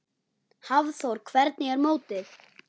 Hafþór: Hvernig er mótið?